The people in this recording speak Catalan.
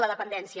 la dependència